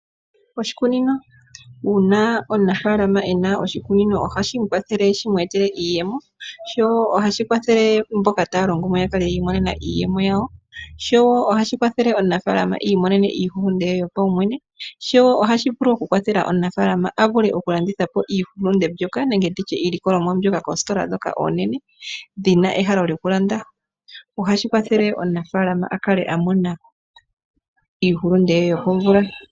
Oshikunino, uuna omunafaalama ena oshikunino ohashi mu kwathele shimweetele iiyemo, sho ohashi kwathele mboka taa longo mo opo yakale yiilikolela iiyemo yawo, sho ohashi kwathele omunafaalama iimonene iihulunde ye yopawumwene, sho ohashi vulu kukwathela omunafaalama avule kulanditha po iihulunde mbyoka nenge iilikolomwa mbyoka keesitola eenene dhina ehalo lyokulanda , ohashi kwathele omunafaalama akale amona iihulunde ye yokomvula.